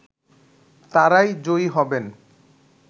তারাই জয়ী হবেন